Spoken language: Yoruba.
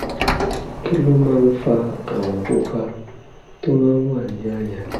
kí ló máa ń fa àwọ̀ pupa tó máa ń wà ní àyà?